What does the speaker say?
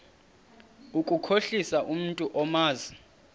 ukukhohlisa umntu omazi